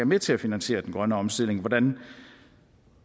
med til at finansiere den grønne omstilling hvordan